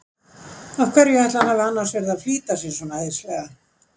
Af hverju ætli hann hafi annars verið að flýta sér svona æðislega!